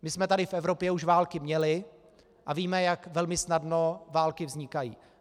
My jsme tady v Evropě už války měli a víme, jak velmi snadno války vznikají.